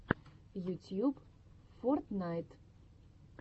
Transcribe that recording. ютьюб фортнайт